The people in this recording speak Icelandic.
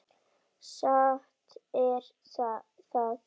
Satt er það.